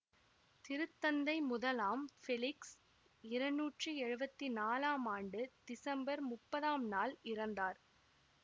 திருத்தந்தை முதலாம் ஃபெலிக்ஸ் இருநூற்றி எழுவத்தி நாலாம் ஆண்டு திசம்பர் முப்பதாம் நாள் இறந்தார்